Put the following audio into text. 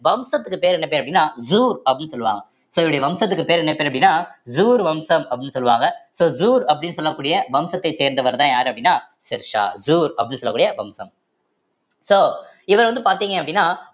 வம்சத்துக்கு பேரு என்ன பேரு அப்படின்னா சூர் அப்படின்னு சொல்லுவாங்க so இவருடைய வம்சத்துக்கு பேரு என்ன பேரு அப்படின்னா சூர் வம்சம் அப்படின்னு சொல்லுவாங்க so சூர் அப்படின்னு சொல்லக்கூடிய வம்சத்தை சேர்ந்தவர்தான் யாரு அப்படின்னா ஷெர்ஷா சூர் அப்படின்னு சொல்லக்கூடிய வம்சம் so இவர் வந்து பார்த்தீங்க அப்படின்னா